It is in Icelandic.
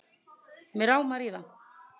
Mig rámar í það